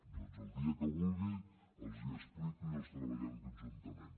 doncs el dia que vulgui els hi explico i els treballem conjuntament